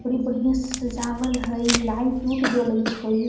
बड़ी बढ़िया सजावल हई लाइट उट जलई छई |